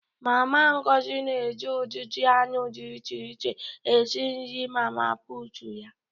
Mama Ngozi na-eji ụdịdị anụ dị iche iche esi nri mama puutu ya.